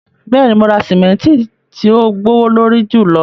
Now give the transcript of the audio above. Bẹ́ẹ̀ni, mo ra simẹntì ti ò gbowolorí júlọ